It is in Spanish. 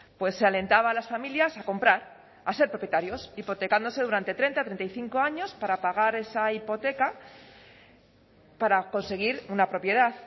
pues se alentaba a las familias a comprar a ser propietarios hipotecándose durante treinta treinta y cinco años para pagar esa hipoteca para conseguir una propiedad